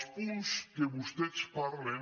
els punts en què vostès parlen